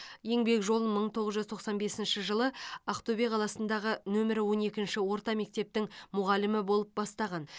еңбек жолын мың тоғыз жүз тоқсан бесінші жылы ақтөбе қаласындағы нөмірі он екінші орта мектептің мұғалімі болып бастаған